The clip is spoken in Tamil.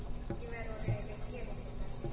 இவர் ஒரு வெற்றி அடைந்துள்ளார்